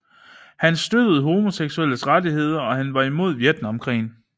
Han støttede homoseksuelles rettigheder og han var imod Vietnam krigen